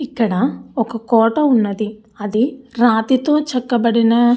ఇక్కడ ఒక కోట ఉన్నది అది రాతితో చెక్కబడిన--